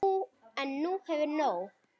En hún hefur nóg.